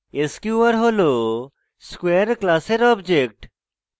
sqr হল square class object